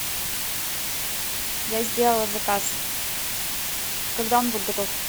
я сделала заказ когда он будет готов